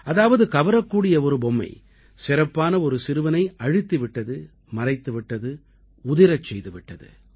அதாவது கவரக்கூடிய ஒரு பொம்மை சிறப்பான ஒரு சிறுவனை அழுத்தி விட்டது மறைத்து விட்டது உதிரச் செய்து விட்டது